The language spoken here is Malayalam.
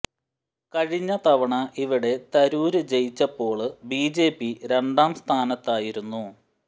കഴിഞ്ഞ തവണ ഇവിടെ തരൂര് ജയിച്ചപ്പോള് ബി ജെ പി രണ്ടാംസ്ഥാനത്തായിരുന്നു